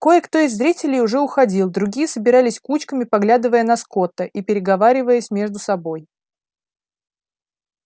кое-кто из зрителей уже уходил другие собирались кучками поглядывая на скотта и переговариваясь между собой